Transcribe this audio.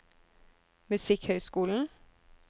musikkhøyskolen